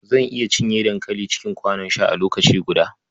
Zan iya cinye dankali cikin kwanon sha a lokaci guda.